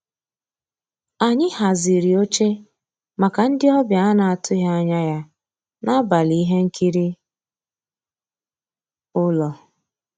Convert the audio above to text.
Ànyị́ hàzírí óché màkà ndị́ ọ̀bịá á ná-àtụ́ghị́ ànyá yá n'àbàlí íhé nkírí ụ́lọ́.